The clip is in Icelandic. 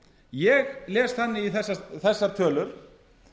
ég les þannig í þessar tölur